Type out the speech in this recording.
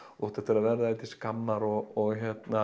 þú átt eftir að verða þér til skammar og